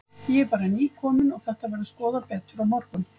Ég er bara nýkominn og þetta verður skoðað betur á morgun.